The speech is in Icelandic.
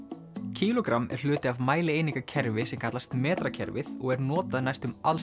kílógramm er hluti af mælieiningakerfi sem kallast metrakerfið og er notað næstum